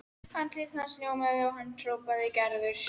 Andlit hans ljómaði og hann hrópaði: Gerður!